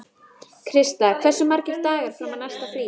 Krista, hversu margir dagar fram að næsta fríi?